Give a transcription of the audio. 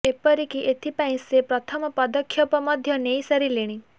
ଏପରିକି ଏଥିପାଇଁ ସେ ପ୍ରଥମ ପଦକ୍ଷେପ ମଧ୍ୟ ନେଇ ସାରିଲେଣି